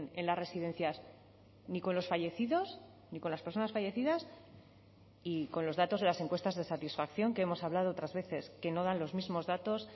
en las residencias ni con los fallecidos ni con las personas fallecidas y con los datos de las encuestas de satisfacción que hemos hablado otras veces que no dan los mismos datos